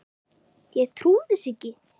Ég trúði þessu ekki.